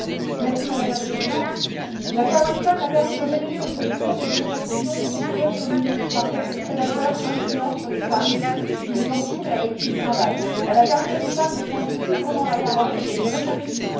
Madame la Présidente, l'affaire Weinstein a permis de révéler aux yeux du monde les exactions sexuelles commises par quelques prédateurs influents sur les femmes qui les entourent et avec qui ils travaillent. Elle a permis à ces femmes de prendre plus librement la parole et de réclamer justice.